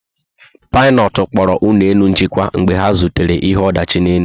Pilotu kpọrọ ụlọ elu njikwa mgbe ha zutere ihe ọdachi n'elu